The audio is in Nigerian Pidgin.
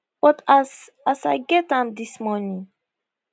but as as i get am dis morning